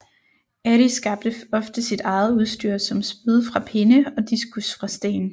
Adi skabte ofte sit eget udstyr såsom spyd fra pinde og diskus fra sten